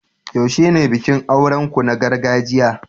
yaushe ne bikin auren ku na gargajiya?